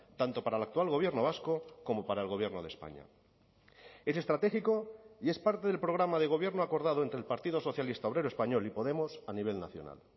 tanto para el actual gobierno vasco como para el gobierno de españa es estratégico y es parte del programa de gobierno acordado entre el partido socialista obrero español y podemos a nivel nacional